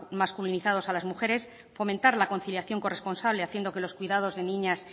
masculinizados a las mujeres fomentar la conciliación corresponsable haciendo que los cuidados de niñas